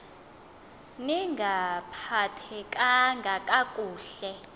ni ngaphathekanga kakuhle